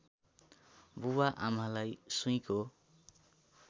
बुबाआमालाई सुईँको